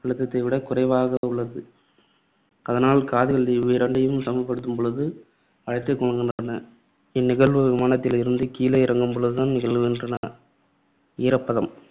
அழுத்தத்தை விட குறைவாக உள்ளது. ஆதலால் காதுகள் இவ்விரண்டையும் சமப்படுத்தும் பொழுது அடைத்துக் கொள்கின்றன. இந்நிகழ்வு விமானத்தில் இருந்து கீழே இறங்கும்பொழுதுதான் நிகழ்கின்றன. ஈரப்பதம்